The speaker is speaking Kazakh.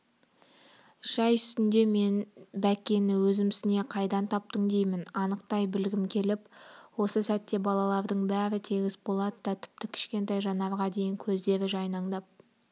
шай үстінде мен бәккені өзімсіне қайдан таптың деймін анықтай білгім келіп осы сәтте балалардың бәрі тегіс болат та тіпті кішкентай жанарға дейін көздері жайнаңдап